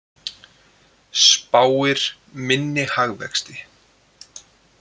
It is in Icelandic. Spáir minni hagvexti